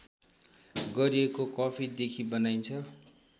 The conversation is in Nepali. गरिएको कफीदेखि बनाइन्छ